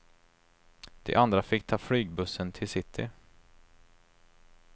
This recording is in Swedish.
De andra fick ta flygbussen till city.